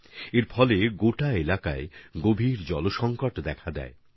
এতে গোটা এলাকাতেই জলের সংকট ক্রমশ গভীর হতে থাকে